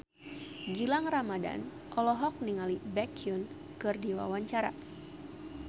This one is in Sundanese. Gilang Ramadan olohok ningali Baekhyun keur diwawancara